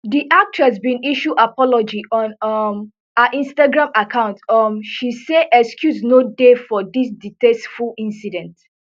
di actress bin issue apology on um her instagram account um she say excuse no dey for dis distasteful incident